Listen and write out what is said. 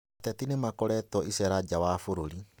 Ateti nĩmakoretwo icerainĩ nja wa bũrũri